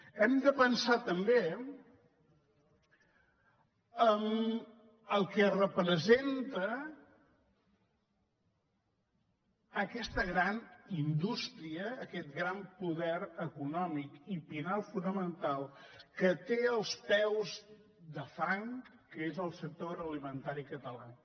hem de pensar també en el que representa aquesta gran indústria aquest gran poder econòmic i pilar fonamental que té els peus de fang que és el sector agroalimentari català